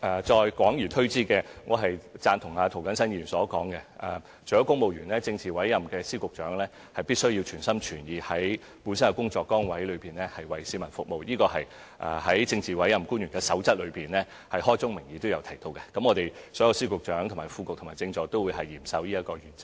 再廣而推之，我贊同涂謹申議員所說，除了公務員外，政治委任的司局長亦必須全心全意，在本身的工作崗位服務市民，這是《守則》開宗明義提到的，所有司局長、副局長及政助都會嚴守這個原則。